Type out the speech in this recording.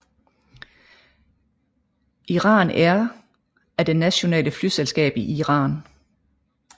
Iran Air er det nationale flyselskab i Iran